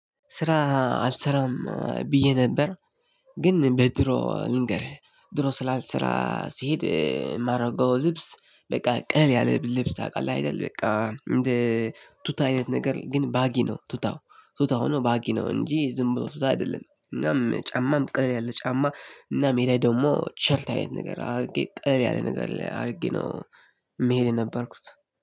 ስራ አልሰራም ብዬ ነበር። ግን በድሮ ልንገርህ ድሮ ስራ ልሰራ ሲሄድ የማደርገው ልብስ በቃ ቀለል ያለ ልብስ ታውቃለህ አይደል? በቃ እንደ ቱታ አይነት ነገር ግን ባጊ ነው ቱታው። ቱታው ሁኖ ባጊ ነው እንጂ ዝም ብሎ ቱታ አይደለም። እናም ጫማም ቀለል ያለ ጫማ እና ሜዳ ላይ ደግሞ ቲሸርት አይነት ነገር አድርጌ ቀለል ያለ ነገር አድርጌ ነው። ምሄድ የነበርኩት